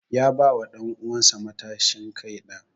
Ya ba wa danuwan sa matashin kai na.